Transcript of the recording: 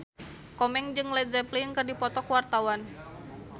Komeng jeung Led Zeppelin keur dipoto ku wartawan